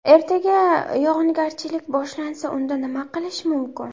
Ertaga yog‘ingarchilik boshlansa, unda nima qilish mumkin?